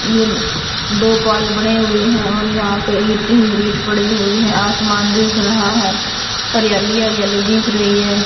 ये दो बड़े बड़े हुए है और यहां पे ईट ही ईट पड़े हुए है आसमान दिख रहा है हरियाली हरियाली दिख रही है।